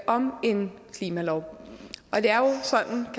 om en klimalov